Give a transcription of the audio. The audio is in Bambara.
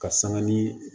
Ka sanga ni